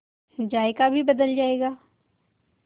जायका भी बदल जाएगा